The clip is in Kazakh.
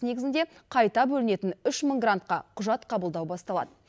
негізінде қайта бөлінетін грантқа құжат қабылдау басталады